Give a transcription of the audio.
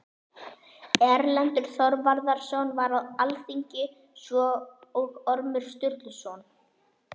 Erlendur Þorvarðarson var á alþingi, svo og Ormur Sturluson.